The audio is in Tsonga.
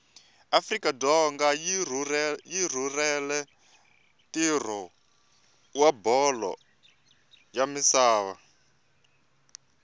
afrika dzonga yirhurhela ntiro wabholo yamisava